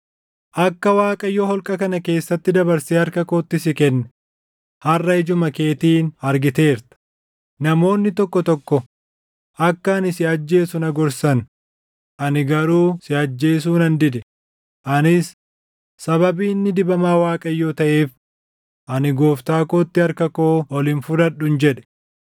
Akka Waaqayyo holqa kana keessatti dabarsee harka kootti si kenne harʼa ijuma keetiin argiteerta. Namoonni tokko tokko akka ani si ajjeesu na gorsan; ani garuu si ajjeesuu nan dide; anis, ‘Sababii inni dibamaa Waaqayyoo taʼeef, ani gooftaa kootti harka koo ol hin fudhadhun’ jedhe.